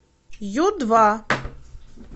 ю два